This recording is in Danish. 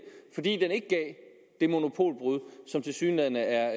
fordi den ikke gav det monopolbrud som tilsyneladende er